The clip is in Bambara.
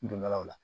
Don dɔ la